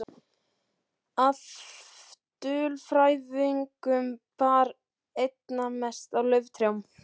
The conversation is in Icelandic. Af dulfrævingum bar einna mest á lauftrjám.